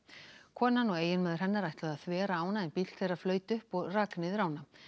konan og eiginmaður hennar ætluðu að þvera ána en bíllinn flaut upp og rak niður ána